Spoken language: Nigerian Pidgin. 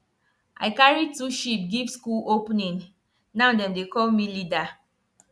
i carry two sheep give school opening now dem dey call me leader